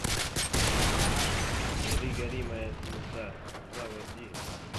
гори гори моя звезда заводи